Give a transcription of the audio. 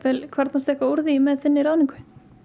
kvarnast eitthvað úr því með þinni ráðningu